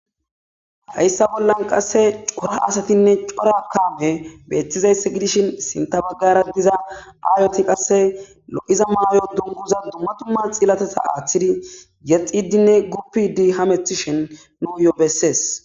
hayssa bollan qasse cora asatinne cora kame beettizayss gidishin sinta baggara diza aayoti qasse lo'iza maayo dunguza dumma dumma xillateza aaththidi yexxidi gupidi hamethishen nuuyo bessees